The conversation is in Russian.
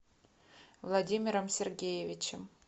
владимиром сергеевичем